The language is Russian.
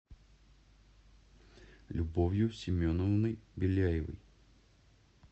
любовью семеновной беляевой